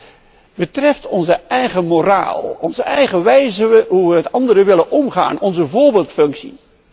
Dit betreft onze eigen moraal, onze eigen wijze van hoe wij met anderen willen omgaan, onze voorbeeldfunctie.